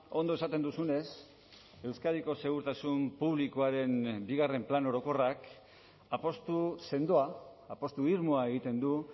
ondo esaten duzunez euskadiko segurtasun publikoaren bigarren plan orokorrak apustu sendoa apustu irmoa egiten du